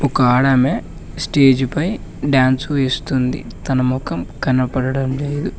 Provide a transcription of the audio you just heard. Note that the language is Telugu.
ఒక ఆడమే స్టేజ్ పై డాన్స్ వేస్తుంది తన మొఖం కనబడడం లేదు.